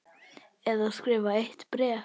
Eða skrifa eitt bréf?